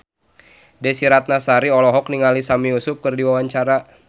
Desy Ratnasari olohok ningali Sami Yusuf keur diwawancara